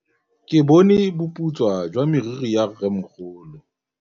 Ke bone boputswa jwa meriri ya rrêmogolo.